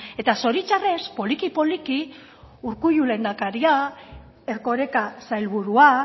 eta zoritxarrez poliki poliki urkullu lehendakaria erkoreka sailburua